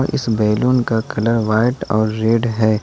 इस बैलून का colour white और रेड है।